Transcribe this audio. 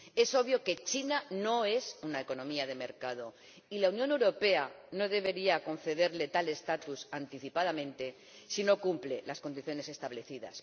Es obvio que China no es una economía de mercado, y la Unión Europea no debería concederle tal estatus anticipadamente si no cumple las condiciones establecidas.